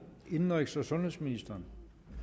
indenrigs og sundhedsministeren